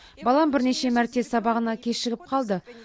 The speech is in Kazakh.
балам бірнеше мәрте сабағына кешігіп қалды